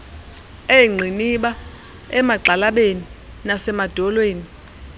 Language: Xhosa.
eengqiniba emagxalabeni nasemadolweni